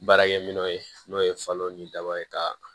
Baarakɛminɛnw ye n'o ye falo ni daba ye ka